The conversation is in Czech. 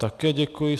Také děkuji.